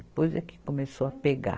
Depois é que começou a pegar.